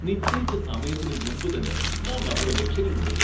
നിശ്ചയിച്ച സമയത്തിന് മുമ്പുതന്നെ നാം നമ്മുടെ ലക്ഷ്യങ്ങൾ നേടി